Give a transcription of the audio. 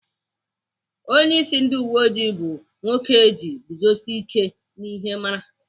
Onyeisi ndị uweoji bụ nwoke eji iguzosi ike n'ezi ihe mara.